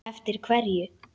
Eftir hverju?